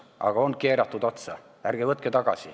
Aga on keeratud otsa.